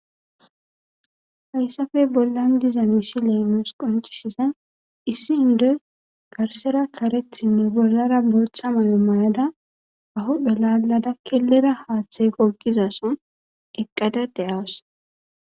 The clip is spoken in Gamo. Hayssappe bollan diza misile nus qonccisizay issi indoy garssara kareta bollara boththa mayo mayada ba huuphe laalada killira haaththe gogizason eqqada de'aus.